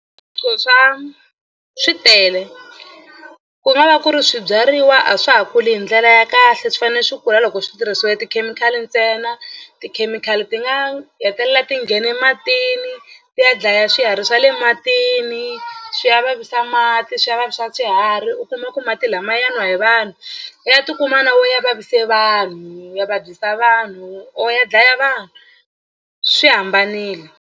swa swi tele ku nga va ku ri swibyariwa a swa ha kuli hi ndlela ya kahle swi fanele swi kula loko swi tirhisiwe tikhemikhali ntsena. Tikhemikhali ti nga hetelela ti nghene matini ti ya dlaya swiharhi swa le matini swi ya vavisa mati swi ya vavisa swiharhi u kuma ku mati lama ma ya nwa hi vanhu ya tikuma na wo ya vavise vanhu ya vabyisa vanhu or ya dlaya vanhu swi hambanile.